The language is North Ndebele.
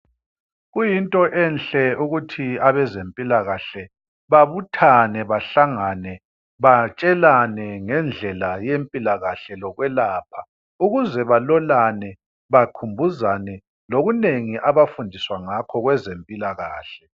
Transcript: Kuyinto enhle ukuthi abazempila kahle babuthane bahlangane batshelane ngendlela yempilakahle yokwelapha ukuze balolane bakhumbuzane okunengi okwezempila kahle.